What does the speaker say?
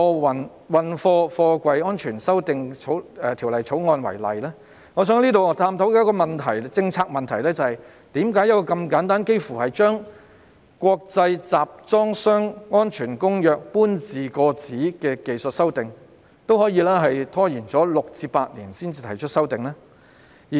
我想以我們現正討論的《條例草案》為例，探討一個關乎政策的問題，就是為何把《國際集裝箱安全公約》搬字過紙這般簡單的技術性修訂，也可以拖延6年至8年才作出呢？